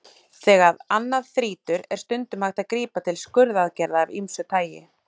Þegar annað þrýtur er stundum hægt að grípa til skurðaðgerða af ýmsu tagi.